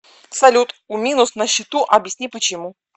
салют у минус на счету объясни почему